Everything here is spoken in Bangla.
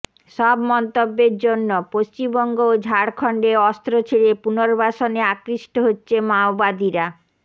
সব মন্তব্যের জন্য পশ্চিমবঙ্গ ও ঝাড়খন্ডে অস্ত্র ছেড়ে পুনর্বাসনে আকৃষ্ট হচ্ছে মাওবাদীরা